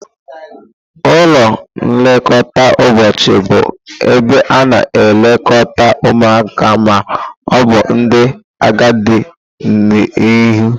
Ụlọ nlekọta ụbọchị bụ ebe a na-elekọta ụmụaka ma ọ bụ ndị agadi n'ehihie.